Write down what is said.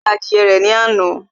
Ó ta adìyẹ rẹ̀ ní àná